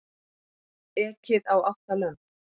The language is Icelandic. Ekið á átta lömb